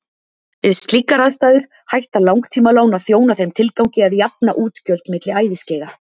Við slíkar aðstæður hætta langtímalán að þjóna þeim tilgangi að jafna útgjöld milli æviskeiða.